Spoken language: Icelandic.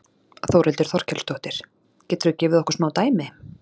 Þórhildur Þorkelsdóttir: Geturðu gefið okkur smá dæmi?